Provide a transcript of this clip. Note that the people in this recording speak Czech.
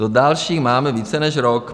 Do dalších máme více než rok.